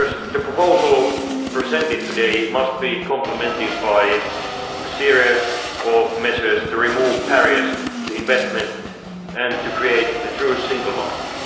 The proposal presented today must be complemented by a series of measures to remove barriers to investment and to create a true single